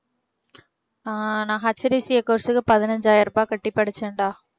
ஆஹ் நான் HDCA course க்கு பதினைஞ்சாயிரம் ரூபாய் கட்டி படிச்சேன்டா